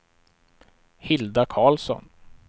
Hilda Karlsson